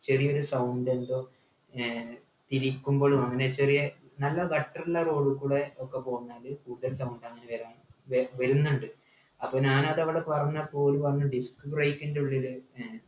ചെറിയൊരു sound എന്തോ ഏർ തിരിക്കുമ്പോഴും അങ്ങനെ ചെറിയെ നല്ല gutter ഉള്ള road കൂടെ ഒക്കെ പോന്നാല് scooter sound അങ്ങനെ വരാ വേവരുന്ന്ണ്ട് അപ്പൊ ഞാനതവിടെ പറഞ്ഞപ്പോ ഓല് പറഞ്ഞു disc break ൻ്റെ ഉള്ളില് ഏർ